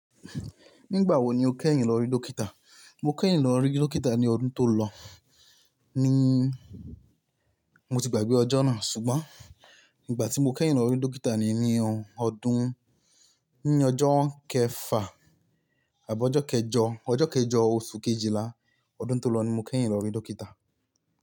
Nígbà wo ni o kẹ́yìn lọ rí dókítà? Mo kẹ́yìn lọ rí dókítà ní ọdún tó lọ, níí, mo ti gbàgbé ọjọ́ náà ṣùgbọ́n nígbà tí mo kẹ́yìn lọ rí dókítà ni ní ọ ọdún, ní ọjọ́ kẹfà àbí ọjọ́ kẹjọ, ọjọ́ kẹjọ oṣù Kejìlá ọdún tó lọ ni mo kẹ́yìn lọ rí dókítà.